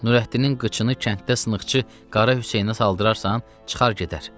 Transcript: Nurəddinin qıçını kənddə sınıqçı Qara Hüseynə saldırarsan, çıxar gedər.